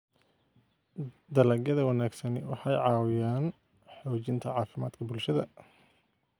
Dalagyada wanaagsani waxay caawiyaan xoojinta caafimaadka bulshada.